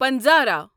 پنظرا